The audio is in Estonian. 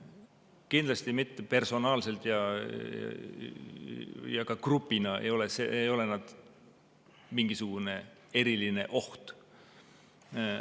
Kindlasti mitte personaalselt ja ka grupina ei ole nad mingisugune eriline oht.